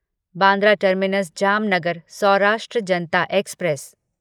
Bandra terminus Jamnagar Saurashtra Janata express